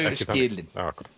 skilin